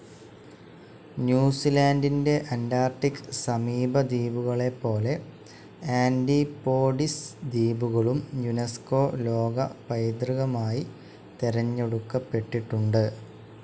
ന്യൂസിലാൻഡിൻ്റെ Antarctic സമീപദ്വീപുകളെപ്പോലെ Antipodes ദ്വീപുകളും UNESCO ലോകപൈതൃകമായി തെരഞ്ഞെടുക്കപ്പെട്ടിട്ടുണ്ട്.